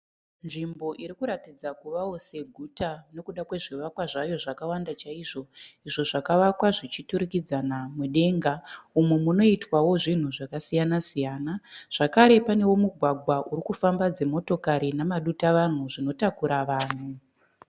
Nzvimbo inoratidza seguta nekuda kwezvivakwa zvayo zvakawanda izvo zvakavakwa zvichienda mudenga umo munoitwa zvakasiyana- siyana zvekare pane mugwagwa unofamba dzimotokari nemadutavanhu zvinotakura vanhu